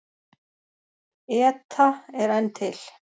ETA er enn til.